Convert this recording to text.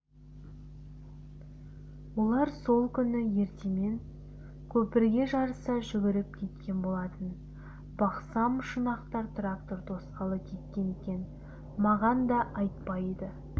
олар сол күні ертемен көпірге жарыса жүгіріп кеткен болатын бақсам шұнақтар трактор тосқалы кеткен екен маған да айтпайды